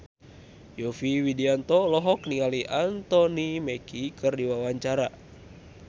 Yovie Widianto olohok ningali Anthony Mackie keur diwawancara